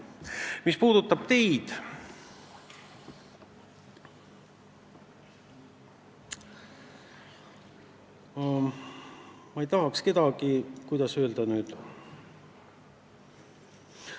Mis puudutab teid, siis ma ei tahaks kedagi, kuidas öelda, solvata.